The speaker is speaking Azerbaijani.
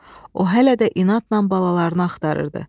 O hələ də inadla balalarını axtarırdı.